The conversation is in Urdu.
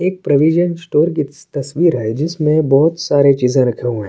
ایک پرویشاں سٹور کی تسویر ہے، جسمے بوہت ساری چیزی رکھی ہوئی ہے۔